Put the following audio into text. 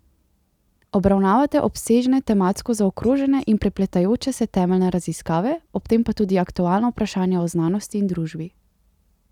Obravnavate obsežne tematsko zaokrožene in prepletajoče se temeljne raziskave, ob tem pa tudi aktualno vprašanje o znanosti in družbi ...